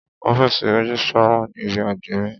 Ọ́fìsì rẹ́gísrà wà ní ibí àdmínìì.